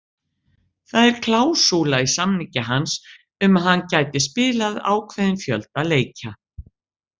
Það ar klásúla í samningi hans um að hann gæti spilað ákveðinn fjölda leikja.